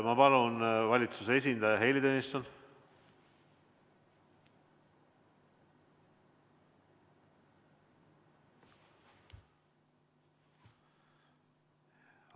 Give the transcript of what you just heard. Ma palun, valitsuse esindaja Heili Tõnisson!